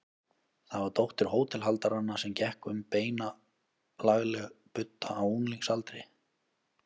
Það var dóttir hótelhaldaranna sem gekk um beina, lagleg budda á unglingsaldri.